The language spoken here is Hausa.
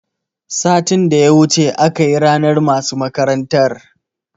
Satin da ya wuce akayi ranar masu makarantar